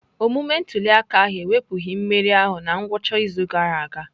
Omume ntuli aka ahụ ewepụghị mmeri ahụ na ngwụcha izu ụka gara aga.